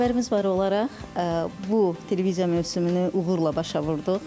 Xəbərimiz var olaraq, bu televiziya mövsümünü uğurla başa vurduq.